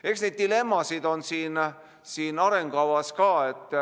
Eks neid dilemmasid on siin arengukavas samuti.